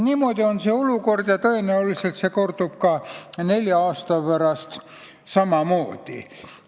Niisugune on see olukord ja tõenäoliselt kordub see ka nelja aasta pärast samamoodi.